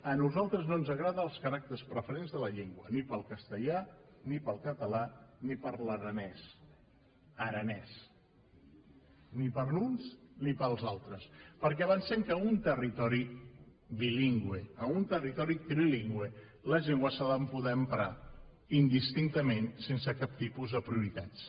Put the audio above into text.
a nosaltres no ens agraden els caràcters preferents de la llengua ni per al castellà ni per al català ni per a l’aranès aranès ni per a uns ni per als altres perquè pensem que en un territori bilingüe en un territori trilingüe les llengües s’han de poder emprar indistintament sense cap tipus de prioritats